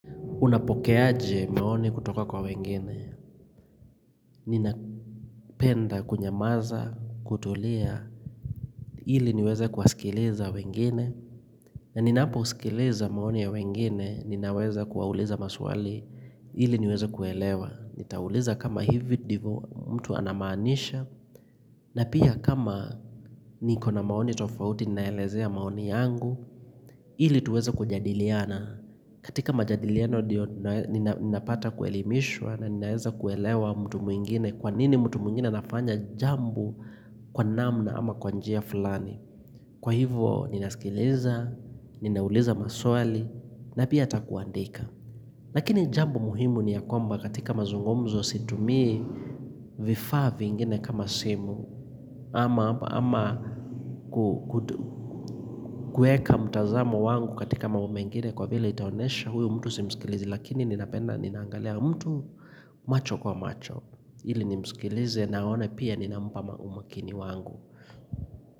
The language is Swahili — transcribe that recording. Unapoke aje maoni kutoka kwa wengine. Ninapenda kunyamaza, kutolia, ili niweza kuwasikiliza wengine. Na ninapo usikileza maoni ya wengine, ninaweza kuwauliza maswali hili niweza kuelewa. Nitauliza kama hivi ndivo mtu anamanisha, na pia kama niko na maoni tofauti ninaelezea maoni yangu, hili tuweza kujadiliana. Katika majadilieno ndio ninapata kuelimishwa na ninaeza kuelewa mtu mwingine kwa nini mtu mwingine nafanya jambo kwa namna ama kwa njia fulani. Kwa hivo ninaskileza, ninauliza maswali na pia atakuandika. Lakini jambo muhimu ni ya komba katika mazungomzo situmii vifaa vingine kama simu. Ama kweka mtazamo wangu katika mambo mangine kwa vila itaonesha huyu mtu simsikilizi Lakini ninapenda ninangalia mtu macho kwa macho ili nimsikilize na aone pia ninampa umakini wangu.